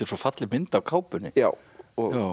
svo falleg mynd á kápunni